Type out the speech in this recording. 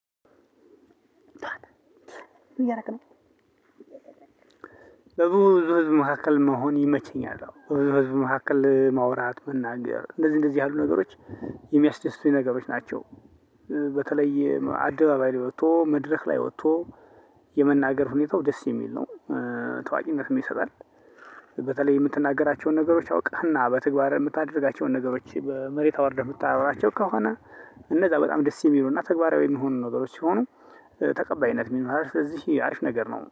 ምን እያደረክ ነው በብዙ ህዝብ መካከል መሆን ይመቸኛል በብዙ መካከል ማውራት መናገር እንደዚህ እንደዚህ ያሉ ነገሮች የሚያስደስቱኝ ነገሮች ናቸው። በተለይ አደባባይ ላይ ወጥቶ መድረክ ላይ ወጥቶ የመናገር ሁኔታው ደስ የሚል ነው። ታዋቂነት ይሰጣል። በተለይ የምትናገራቸውን ነገሮች አውቃህና በተግባር የምታደርጋቸውን ነገሮች በመሬት አውርደህ የምታወራቸው ከሆነ። እነዛ በጣም ደስ የሚሉ እና ተግባራዊ የሚሆኑ ነገሮች ሲሆኑ። ተቀባይነት ም ይኖርሀል ሥለዚህ አሪፍ ነገር ነው